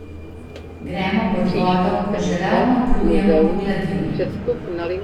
Gremo pod vodo, ko že ravno plujemo po gladini.